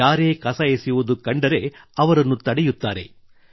ಯಾರೇ ಇಂಥ ಕೆಲಸ ಮಾಡುತ್ತಿದ್ದರೂ ತಡೆಯುತ್ತಾರೆ